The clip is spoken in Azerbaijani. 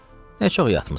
nə çox yatmısan?